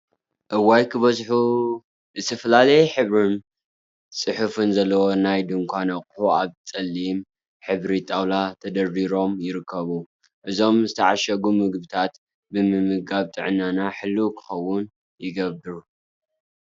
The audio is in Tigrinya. እዋይ ክበዝሑ! ዝተፈላለየ ሕብሪን ፅሑፍን ዘለዎም ናይ ድንኳን አቁሑት አብ ፀሊም ሕብሪ ጣውላ ተደርዲሮም ይርከቡ፡፡ እዞም ዝተዓሸጉ ምግቢታት ብምምጋብ ጥዕናና ሕልው ክኸውን ይገብር፡፡